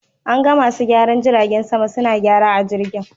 An ga masu gyaran jiragen sama suna gyara a jirgin.